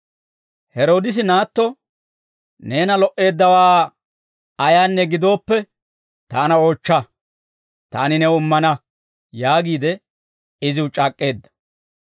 Heroodisi naatto, «Neena lo"eeddawaa ayaanne gidooppe, taana oochcha; taani new immana» yaagiide iziw c'aak'k'eedda.